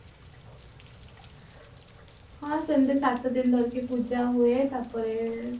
ହଁ ସେମଟି ସାତ ଦିନ ଧରିକି ପୂଜା ହୁଏ ତାପରେ